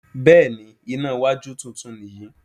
Béèni iná wájú títún ni yí.